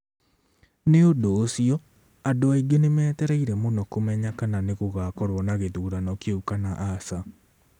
Nĩ ũndũ ũcio, andũ aingĩ nĩ metereire mũno kũmenya kana nĩ gũgakorũo na gĩthurano kĩu kana aca.